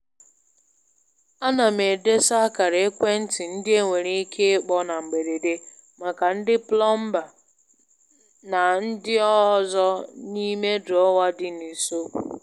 Ana m m edesa akara ekwentị ndị e nwere ike ịkpọ na mberede maka ndị plọmba na ọrụ ndị ọzọ n'ime drọwa dị n'usekwu